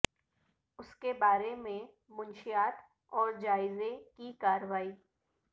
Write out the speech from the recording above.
اس کے بارے میں منشیات اور جائزے کی کارروائی